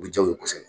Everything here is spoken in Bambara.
U bɛ diya n ye kosɛbɛ